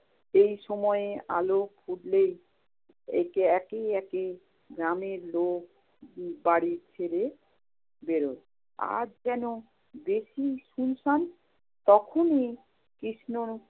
এই সময়ে আলো ফুটলেই একে~ একে একে গ্রামের লোক বাড়ি ছেড়ে বেরুয়। আজ কেন বেশি সুনসান? তখনি কৃষ্ণ